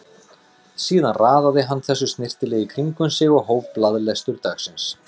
Síðan raðaði hann þessu snyrtilega í kring um sig og hóf blaðalestur dagsins.